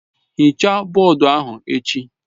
Hichaa bọọdụ ahụ echi!